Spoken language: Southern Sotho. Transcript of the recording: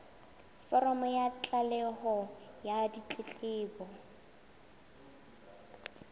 foromo ya tlaleho ya ditletlebo